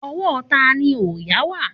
Ọwọ́ tani òòyà wà?